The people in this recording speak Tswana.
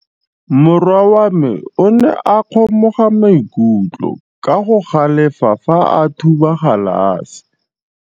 Morwa wa me o ne a kgomoga maikutlo ka go galefa fa a thuba galase.